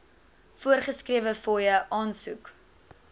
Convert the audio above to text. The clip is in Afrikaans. voorgeskrewe fooie aansoek